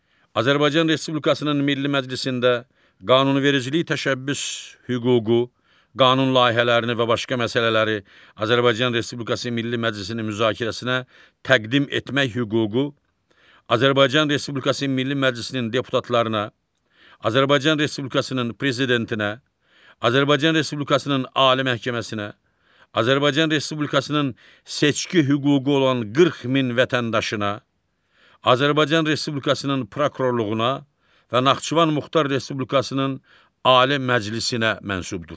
Azərbaycan Respublikasının Milli Məclisində qanunvericilik təşəbbüs hüququ, qanun layihələrini və başqa məsələləri Azərbaycan Respublikası Milli Məclisinin müzakirəsinə təqdim etmək hüququ Azərbaycan Respublikası Milli Məclisinin deputatlarına, Azərbaycan Respublikasının Prezidentinə, Azərbaycan Respublikasının Ali Məhkəməsinə, Azərbaycan Respublikasının seçki hüququ olan 40 min vətəndaşına, Azərbaycan Respublikasının prokurorluğuna və Naxçıvan Muxtar Respublikasının Ali Məclisinə məxsusdur.